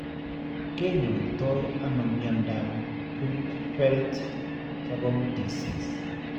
Ke nyaitono mnyandoap Creutzfeldt Jakob disease?